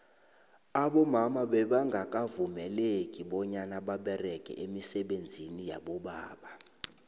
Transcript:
abomama bebanqakavumeleki banyana babereqe imisebenziyabobaba